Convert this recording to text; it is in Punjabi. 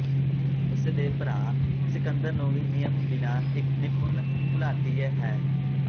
ਉਸ ਦੇ ਭਰਾ ਸਿਕੰਦਰ ਨੂੰ ਵੀ ਨਿਯਮ ਬਿਨਾ ਇਕ ਨਿਪੁੰਨ ਘੁਲਾਟੀਏ ਹੈ